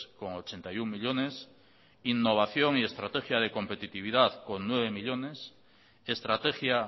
con ochenta y uno millónes innovación y estrategia de competitividad con nueve millónes estrategia